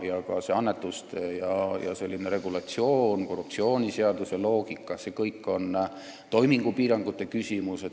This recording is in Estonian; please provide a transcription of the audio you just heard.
Annetused, regulatsioon ja korruptsioonivastase seaduse loogika – see on toimingupiirangute küsimus.